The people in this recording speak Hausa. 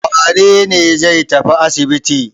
Wane ne zai tafi asibiti?